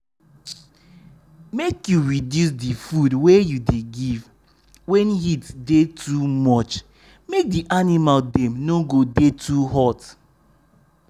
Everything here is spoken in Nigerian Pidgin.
make you reduce di food wey you dey give wen heat dey too much make di animal dem no go dey too hot.